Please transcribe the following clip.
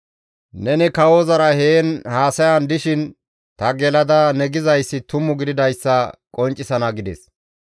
Neni kawozara heen haasayan dishin ta gelada ne gidayssi tumu gididayssa qonccisana» gides.